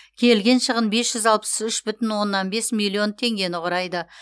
келген шығын бес жүз алпыс үш бүтін оннан бес миллион теңгені құрайды